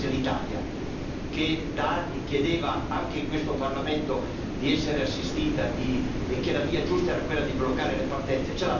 C'era un paese, l'Italia, che da anni chiedeva, anche in questo Parlamento, di essere assistita, che diceva che la via giusta era quella di bloccare le partenze.